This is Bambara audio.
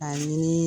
A ɲini